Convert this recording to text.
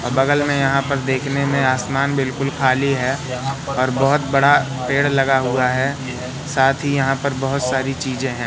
और बगल में यहाँ पर देखने में आसमान बिलकुल खाली है और बहोत बड़ा पेड़ लगा हुआ है साथ ही यहाँ पर बहोत सारी चीज़ें हैं।